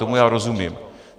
Tomu já rozumím.